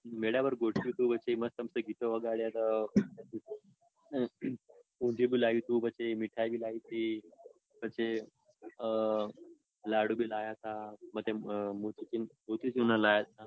મેધા ઉપર ગોઠવ્યું તું વચમાં. મસ્ત ગીતો વગાડ્યા તા પછી ઊંધિયું લાઈ ટતી પછી મીઠાઈ બ લાઈ તી. પછી અઅઅ લાડુ બી લાવ્યા તા. મોતીચૂરના લાવ્યા તા.